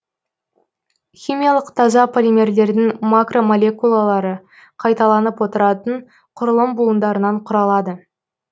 химиялық таза полимерлердің макромолекулалары қайталанып отыратын құрылым буындарынан құралады